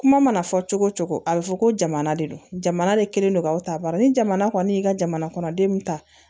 Kuma mana fɔ cogo o cogo a bɛ fɔ ko jamana de don jamana de kɛlen don k'aw ta bari ni jamana kɔni y'i ka jamana kɔnɔ denw ta